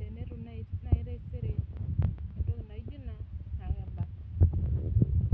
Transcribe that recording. tenetum naaji taisere entoki naijo Ina naa kebak.